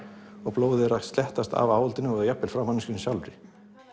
blóðið er að af áhaldinu og jafnvel frá manneskjunni sjálfri